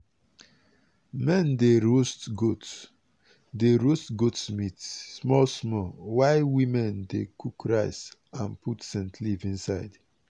men dey roast goat dey roast goat meat small small while women dey cook rice and put scent leaf inside.